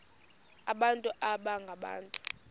abantu baba ngabantu